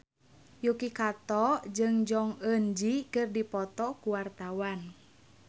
Yuki Kato jeung Jong Eun Ji keur dipoto ku wartawan